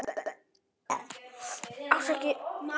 Hefur það ekkert að segja?